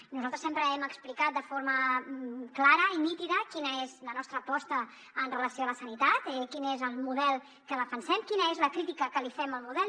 i nosaltres sempre hem explicat de forma clara i nítida quina és la nostra aposta amb relació a la sanitat quin és el model que defensem quina és la crítica que fem al model